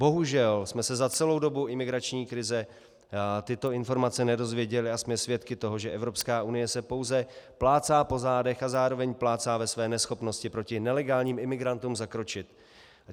Bohužel jsme se za celou dobu imigrační krize tyto informace nedozvěděli a jsme svědky toho, že Evropská unie se pouze plácá po zádech a zároveň plácá ve své neschopnosti proti nelegálním imigrantům zakročit.